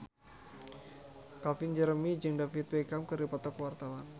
Calvin Jeremy jeung David Beckham keur dipoto ku wartawan